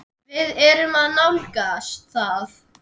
Við erum að nálgast það.